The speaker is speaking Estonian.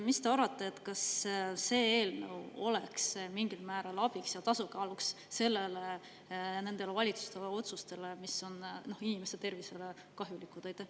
Mis te arvate, kas see eelnõu oleks mingil määral abiks ja tasakaalustaks neid valitsuse otsuseid, mis on inimeste tervisele kahjulikud?